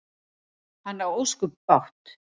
Hann á ósköp bágt.